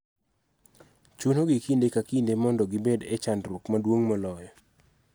Chuno gi kinde ka kinde mondo gibed e chandruok maduong� moloyo